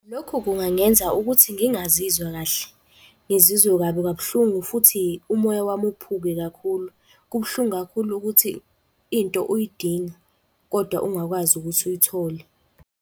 Lokhu kungangenza ukuthi ngingazizwa kahle, ngizizwe kabi kabuhlungu futhi umoya wami uphuke kakhulu. Kubuhlungu kakhulu ukuthi into uyidinga kodwa ungakwazi ukuthi uyithole.